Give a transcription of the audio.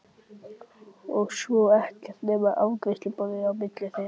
Og svo er ekkert nema afgreiðsluborðið á milli þeirra.